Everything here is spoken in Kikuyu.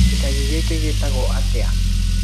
Gĩcagi gĩkĩ gĩtago atĩa.